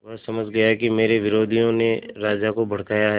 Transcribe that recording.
वह समझ गया कि मेरे विरोधियों ने राजा को भड़काया है